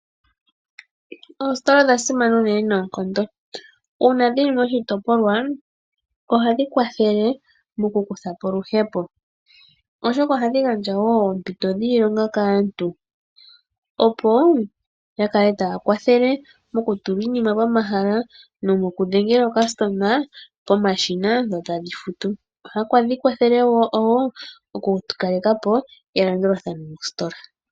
Oositola odha simana unene noonkondo. Uuna dhili moshitopolwa ohadhi kwathele moku kuthapo oluhepo, oshoka ohadhi gandja woo oompito dhiilonga kaantu opo yakale taya kwathele moku tula iinima pomahala no moku dhengela omuyakulwa pomashina yo taya futu. Ohadhi kwathele woo oku kalekapo elandulathano mositola.